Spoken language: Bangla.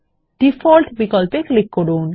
ডিফল্ট বিকল্পে ক্লিক করুন